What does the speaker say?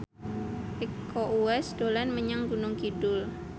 Iko Uwais dolan menyang Gunung Kidul